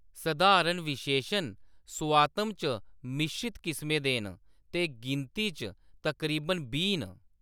सधारण विशेशन सोआतम च मिश्रत किसमें दे न ते गिनती च तकरीबन बीह् न।